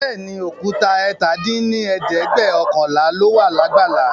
Bẹẹni, Òkúta ẹ̀ta dín ní ẹ̀ẹ́dẹ́gbẹ́ọ̀kànlá lóla lágbàlá